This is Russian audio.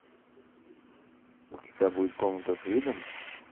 у тебя будет комната с видом